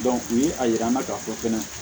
u ye a yira n na k'a fɔ fɛnɛ